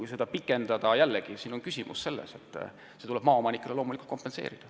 Kui seda aega pikendada, siis on jällegi küsimus selles, et see tuleb maaomanikele kuidagi kompenseerida.